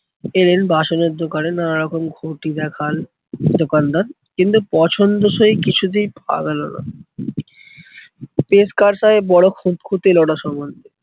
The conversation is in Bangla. এলেন বাসনের দোকানে নানারকম ঘটি দেখাল দোকানদার। কিন্তু পছন্দ সেই কিছুতেই আর হলোনা। টেস্কার সাহেব খুঁতখুঁতে বড়ো